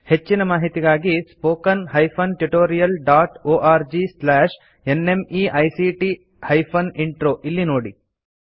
ಹೆಚ್ಚಿನ ಮಾಹಿತಿಗಾಗಿ spoken hyphen tutorial dot org slash NMEICT hyphen intro ಇಲ್ಲಿ ನೋಡಿ